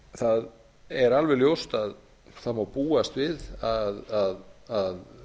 það er alveg ljóst að það á búast við að